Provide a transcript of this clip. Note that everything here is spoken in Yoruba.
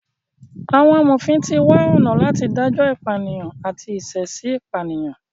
Àwọn amòfin ti wá ọ̀nà láti dájọ ìpànìyàn àti ìṣẹ̀èṣì pànìyàn.